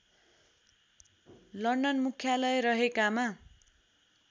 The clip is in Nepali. लन्डन मुख्यालय रहेकामा